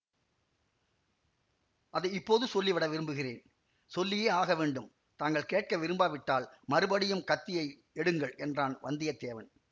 அதை இப்போது சொல்லிவிட விரும்புகிறேன் சொல்லியே ஆகவேண்டும் தாங்கள் கேட்க விரும்பாவிட்டால் மறுபடியும் கத்தியை எடுங்கள் என்றான் வந்தியத்தேவன்